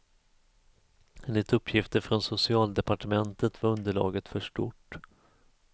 Enligt uppgifter från socialdepartementet var underlaget för stort.